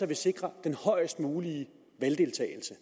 vi sikrer den højest mulige valgdeltagelse